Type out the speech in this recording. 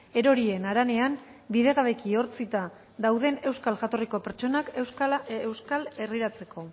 erorien haranean bidegabeki ehortzita dauden euskal jatorriko pertsonak euskal herriratzeko